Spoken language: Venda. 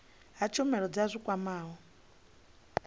ha tshumelo dza zwi kwamaho